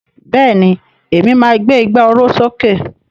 Bẹ́ẹ̀ni, Èmi ni máa gbé ìgbà oró sókè